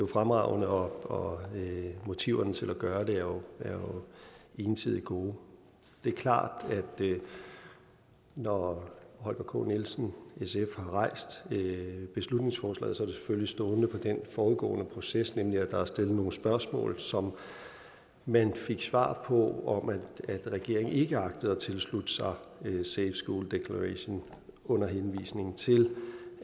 fremragende og motiverne til at gøre det er ensidigt gode det er klart at når herre holger k nielsen sf har stillet beslutningsforslaget selvfølgelig stående på den forudgående proces nemlig at der er stillet nogle spørgsmål som man fik svar på om at regeringen ikke agtede at tilslutte sig safe schools declaration under henvisning til